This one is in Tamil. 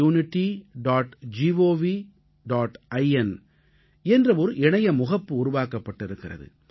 in என்ற ஒரு இணைய முகப்பு உருவாக்கப்பட்டிருக்கிறது